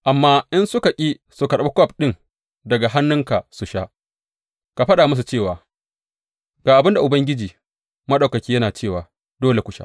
Amma in suka ki su karɓi kwaf ɗin daga hannunka su sha, ka faɗa musu cewa, Ga abin da Ubangiji Maɗaukaki yana cewa dole ku sha!